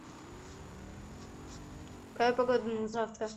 какая погода на завтра